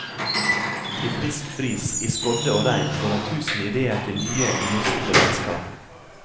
I frisk bris, i skodde og regn får han tusen idéer til nye, lysende landskap.